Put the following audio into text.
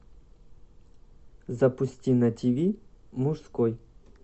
запусти на тв мужской